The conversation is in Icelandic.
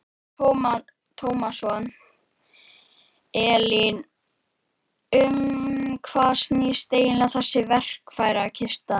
Telma Tómasson: Elín, um hvað snýst eiginlega þessi verkfærakista?